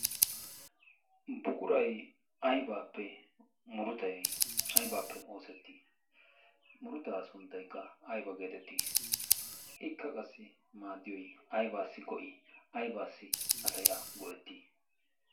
buqurai aibaappe murutai aibaappe oosettii murutaa sunttaikka ayba geetettii ikka qassi maaddiyoy aybaassi go7'i? aybaassi asay a go'ettii?